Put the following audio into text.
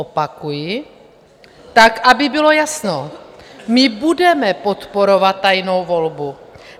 Opakuji: tak aby bylo jasno, my budeme podporovat tajnou volbu.